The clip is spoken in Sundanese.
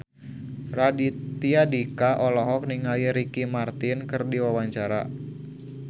Raditya Dika olohok ningali Ricky Martin keur diwawancara